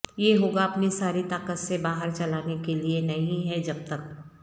یہ ہوگا اپنی ساری طاقت سے باہر چلانے کے لئے نہیں ہے جب تک